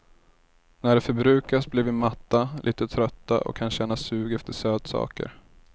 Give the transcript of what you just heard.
När det förbrukas blir vi matta, lite trötta och kan känna sug efter sötsaker.